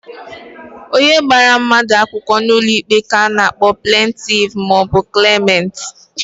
Onye gbara mmadu akwukwo n'ulo ikpe ka a na-akpo plentif ma o bu klemant.